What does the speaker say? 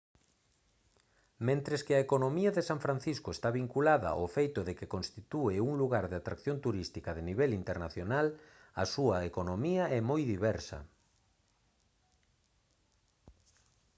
mentres que a economía de san francisco está vinculada ao feito de que constitúe un lugar de atracción turística de nivel internacional a súa economía é moi diversa